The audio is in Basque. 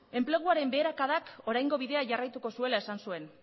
enpleguaren beherakadak oraingo bidea jarraituko zuela esan zuen